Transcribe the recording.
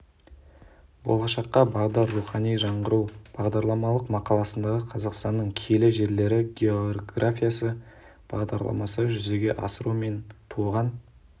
болашаққа бағдар рухани жаңғыру бағдарламалық мақаласындағы қазақстанның киелі жерлері географиясы бағдарламасын жүзеге асыру мен туған